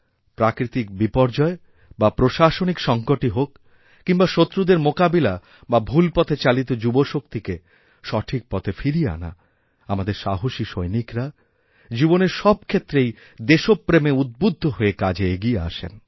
প্রাকৃতিক বিপর্যয় বা প্রশাসনিক সঙ্কটইহোক কিংবা শত্রুদের মোকাবিলা বা ভুল পথে চালিত যুবশক্তিকে সঠিক পথে ফিরিয়ে আনা আমাদের সাহসী সৈনিকরা জীবনের সব ক্ষেত্রেই দেশপ্রেমে উদ্বুদ্ধ হয়ে কাজে এগিয়েআসেন